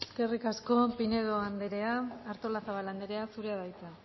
eskerrik asko pinedo anderea artolazabal anderea zurea da hitza